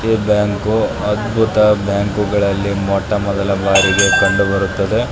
ಈ ಬ್ಯಾಂಕು ಅದ್ಬುತ ಬ್ಯಾಂಕುಗಳಲ್ಲಿ ಮೊಟ್ಟ ಮೊದಲ ಬಾರಿಗೆ ಕಂಡು ಬರುತ್ತದೆ.